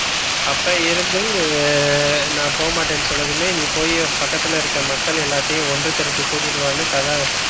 அப்ப இருந்து நா போக மாட்டேன். னு சொன்னதுமே நீ போய் பக்கத்தில இருக்குற மக்கள் எல்லாத்தையும் ஒன்று திரட்டி கூட்டிட்டு வானு கதா